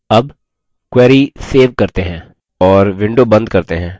अब query save करते हैं और window बंद करते हैं